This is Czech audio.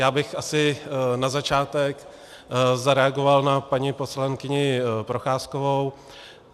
Já bych asi na začátek zareagoval na paní poslankyni Procházkovou.